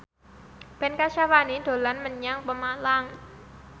Ben Kasyafani dolan menyang Pemalang